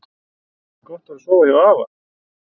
Gott var að sofa hjá afa.